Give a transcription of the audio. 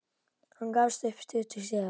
Hann gafst upp stuttu síðar.